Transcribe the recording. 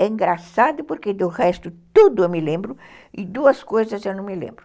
É engraçado porque do resto tudo eu me lembro e duas coisas eu não me lembro.